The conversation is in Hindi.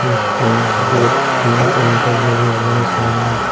एक कुन दो तीन काउंटर लगे हुए हैं सामने।